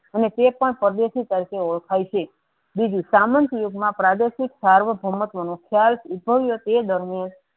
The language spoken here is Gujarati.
અને તે પણ પરદેશી તરીકે ઓળખાય છે બીજુ સામાન્ત યુગ મા પ્રદાર્શિત સર્વ ધર્મત્વ નુ તે દરમિયાન